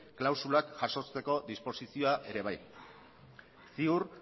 klausulak jasotzeko disposizioa ere bai ziur